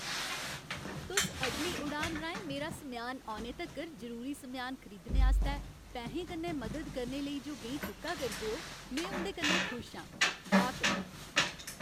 तुस अगली उड़ान राहें मेरा समेआन औने तक्कर, जरूरी समेआन खरीदने आस्तै पैहें कन्नै मदद करने लेई जो गैईं चुक्का करदे ओ, में उं'दे कन्नै खुश आं। गाह्क